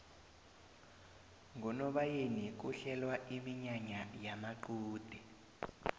ngonobayeni kuhlelwa iminyanya yamaqude